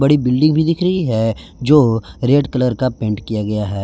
एक बिल्डिंग भी दिख रही हैं जो रेड कलर का पेंट किया गया है।